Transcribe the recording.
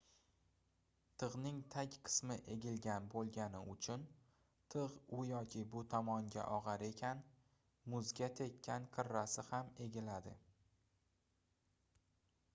tigʻning tag qismi egilgan boʻlgani uchun tigʻ u yoki bu tomonga ogʻar ekan muzga tekkan qirrasi gam egiladi